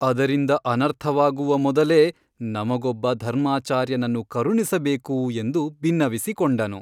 ಅದರಿಂದ ಅನರ್ಥವಾಗುವ ಮೊದಲೇ ನಮಗೊಬ್ಬ ಧರ್ಮಾಚಾರ್ಯನನ್ನು ಕರುಣಿಸಬೇಕು ಎಂದು ಬಿನ್ನವಿಸಿಕೊಂಡನು.